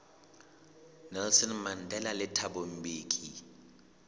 nelson mandela le thabo mbeki